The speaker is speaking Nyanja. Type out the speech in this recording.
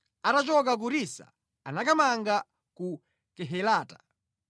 Atachoka ku Risa anakamanga ku Kehelata.